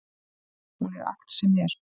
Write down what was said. Hún er allt sem er.